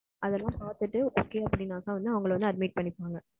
அதுயெல்லாம் பாத்துட்டு அவங்கள வந்து admit பண்ணிக்கோங்க,